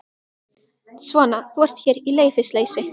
Svona, þú ert hér í leyfisleysi.